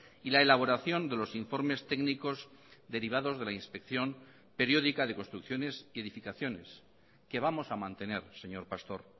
y la elaboración de los informes técnicos derivados de la inspección periódica de construcciones y edificaciones que vamos a mantener señor pastor